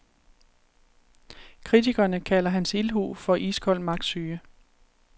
Kritikerne kalder hans ildhu for iskold magtsyge.